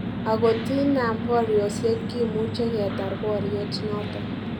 Akot inaam boryosiek, kimuche ketar boryet noton